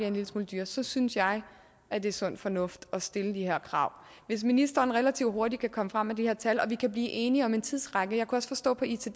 en lille smule dyrere så synes jeg at det er sund fornuft at stille de her krav hvis ministeren relativt hurtigt kan komme frem med de her tal og vi kan blive enige om en tidsramme jeg kunne også forstå på itd